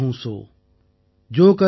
Joe கர் ஹித் அன்ஹித் தாஹூ சோ